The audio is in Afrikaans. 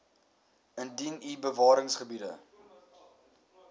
indien u bewaringsgebiede